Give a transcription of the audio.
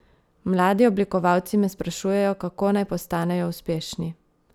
Mladi oblikovalci me sprašujejo, kako naj postanejo uspešni?